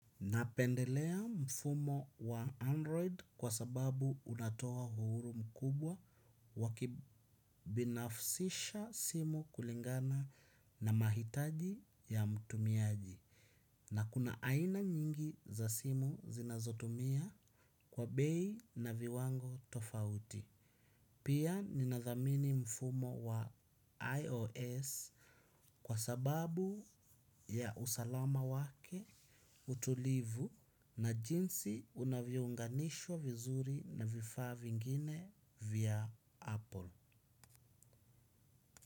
Napendelea mfumo wa android kwa sababu unatoa uhuru mkubwa wa kubinafsisha simu kulingana na mtumiaji na kuna aina nyingi za simu zinazotumia kwa bei na viwango tofauti. Pia ninadhamini mfumo wa IOS, kwa sababu ya usalama wake, utulivu na pia vile unavyounganisha vizuri na vifaa vingine vya apple.